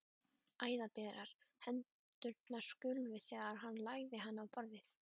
Æðaberar hendurnar skulfu þegar hann lagði hana á borðið.